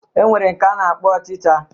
E nwere nke a na-akpọ ọchịcha